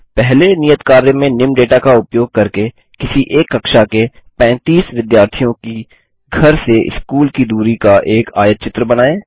पहले नियत कार्य में निम्न डेटा का उपयोग करके किसी एक कक्षा के 35 विद्यार्थियों की घर से स्कूल की दूरी का एक आयतचित्र बनायें